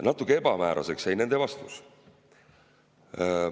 Natuke ebamääraseks jäi nende vastus.